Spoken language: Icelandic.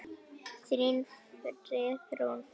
Þín, Friðrún Fanný.